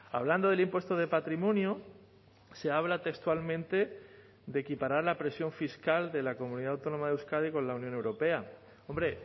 hablando del impuesto de patrimonio se habla textualmente de equiparar la presión fiscal de la comunidad autónoma de euskadi con la unión europea hombre